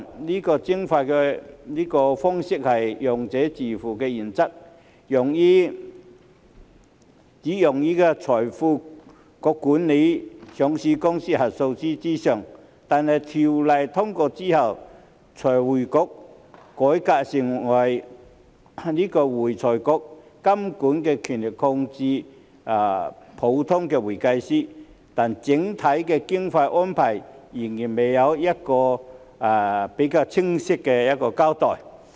這個徵費方式是"用者自付"原則，只用於財匯局監管上市公司核數師之上，但《條例草案》通過之後，財匯局改革成為會財局，監管權力擴大至普通會計師，但整體經費的安排仍然未有比較清晰的交代。